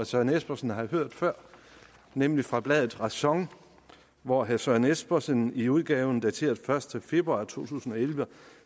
søren espersen har hørt før nemlig fra bladet ræson hvori herre søren espersen i udgaven dateret første februar to tusind og elleve